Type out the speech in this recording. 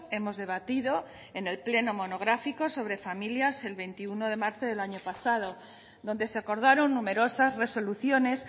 hemos debatido en el pleno monográfico sobre familia el veintiuno de marzo del año pasado donde se acordaron numerosas resoluciones